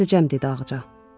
Dözəcəm dedi Ağca.